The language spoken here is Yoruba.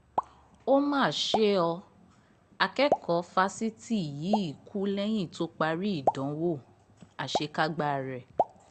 ó mà ṣe ọ́ akẹ́kọ̀ọ́ fásitì yìí kú lẹ́yìn tó parí ìdánwò àṣekágbá rẹ̀